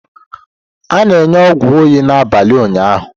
A na-enye ọgwụ oyi n'abalị ụnyaahụ?